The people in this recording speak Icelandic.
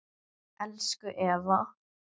Elsku Eva